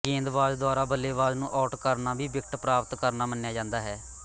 ਗੇਂਦਬਾਜ਼ ਦੁਆਰਾ ਬੱਲੇਬਾਜ਼ ਨੂੰ ਆਊਟ ਕਰਨਾ ਵੀ ਵਿਕਟ ਪ੍ਰਾਪਤ ਕਰਨਾ ਮੰਨਿਆ ਜਾਂਦਾ ਹੈ